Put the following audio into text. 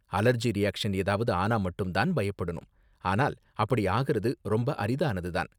Allergy reaction ஏதாவது ஆனா மட்டும் தான் பயப்படணும், ஆனால் அப்படி ஆகுறது ரொம்ப அரிதானது தான்.